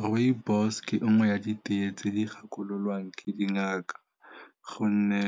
Rooibos ke e nngwe ya di tee tse di gakololwang ke dingaka gonne